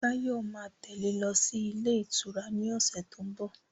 Báyọ̀ ma tẹ́lẹ̀ lọ sí ilé ìtura ni ọ̀sẹ̀ tó ń bọ̀